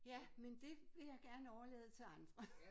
Ja men det vil jeg gerne overlade til andre